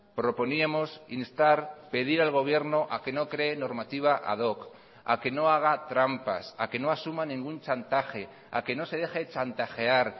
proponíamos instar pedir al gobierno a que no cree normativa ad hoc a que no haga trampas a que no asuma ningún chantaje a que no se deje chantajear